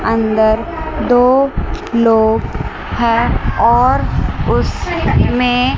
अंदर दो लोग हैं और उस में--